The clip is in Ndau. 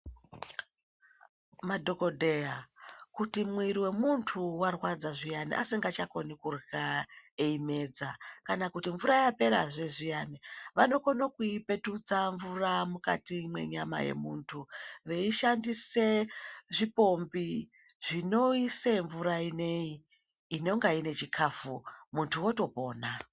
Madhokodheya kuti mwiri we muntu warwadza zviyani asingacha koni kurya eyi medza kana kuti mvura yapera zve zviyani vao kone kuyi petutsa mvura mukati mwe nyama ye muntu vei shandise zvi pombi zvino ise mvura ineyi inonga ine chikafu muntu oto pona.